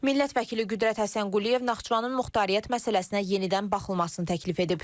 Millət vəkili Qüdrət Həsənquliyev Naxçıvanın muxtariyyət məsələsinə yenidən baxılmasını təklif edib.